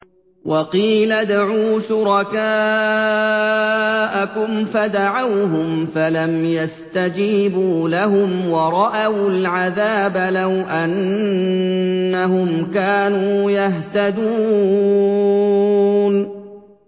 وَقِيلَ ادْعُوا شُرَكَاءَكُمْ فَدَعَوْهُمْ فَلَمْ يَسْتَجِيبُوا لَهُمْ وَرَأَوُا الْعَذَابَ ۚ لَوْ أَنَّهُمْ كَانُوا يَهْتَدُونَ